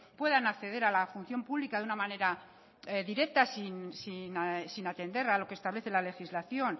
puedan acceder a la función pública de una manera directa sin atender a lo que establece la legislación